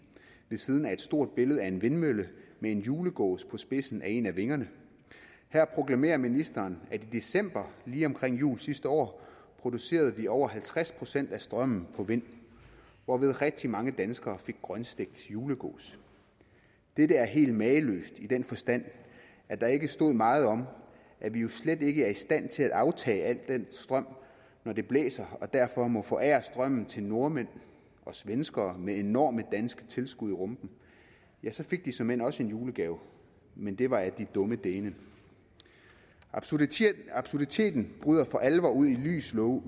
ved siden af et stort billede af en vindmølle med en julegås på spidsen af en af vingerne her proklamerer ministeren at i december lige omkring jul sidste år producerede vi over halvtreds procent af strømmen på vind hvorved rigtig mange danskere fik grønstegt julegås dette er helt mageløst i den forstand at der ikke stod meget om at vi jo slet ikke er i stand til at aftage al den strøm når det blæser og derfor må forære strømmen til nordmænd og svenskere med enorme danske tilskud i rumpen ja så fik de såmænd også en julegave men det var af die dummen dänen absurditeten absurditeten bryder for alvor ud i lys lue